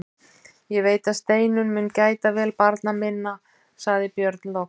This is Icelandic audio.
Ég veit að Steinunn mun gæta vel barna minna, sagði Björn loks.